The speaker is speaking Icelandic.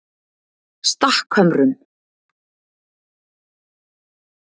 Stakkhömrum